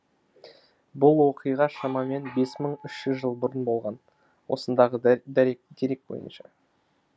бұл оқиға шамамен бес мың үш жүз жыл бұрын болған осындағы дерек бойынша